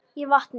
í vatni.